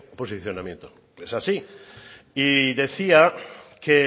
posicionamiento es así y decía que